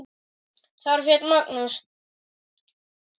Þar féll Magnús.